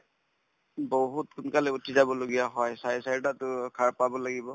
বহুত সোনকালে উঠি যাবলগীয়া হয় চাৰে চাৰিটাতো সাৰ পাব লাগিব